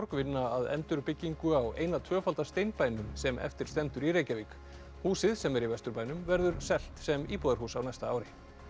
vinna að endurbyggingu á eina tvöfalda sem eftir stendur í Reykjavík húsið sem er í Vesturbænum verður selt sem íbúðarhús á næsta ári